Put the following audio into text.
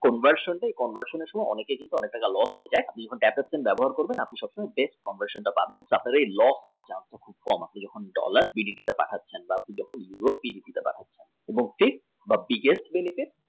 conversion কে conversion থেকে অনেকের অনেক টাকা loss হয়ে যায় এই app টি ব্যবহার করলে যেই conversion টা পাবেন তাতে loss হওয়ার chance তা খুব কম dollarBDT তে পাঠাচ্ছেন বা আপনি USDBDT তে পাঠাচ্ছেন